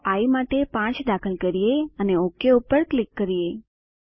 ચાલો આઇ માટે 5 દાખલ કરીએ અને ઓક ઉપર ક્લિક કરીએ